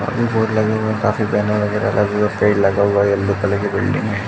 और भी बोर्ड लगे हुए हैं। काफी बेनर वगेरा लगे हुए हैं। पेड़ लगा हुआ है। यल्लो कलर की बिल्डिंग है।